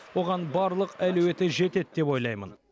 оған барлық әлеуеті жетеді деп ойлаймын